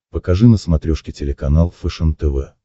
покажи на смотрешке телеканал фэшен тв